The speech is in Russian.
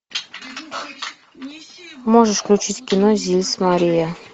можешь включить кино зис мария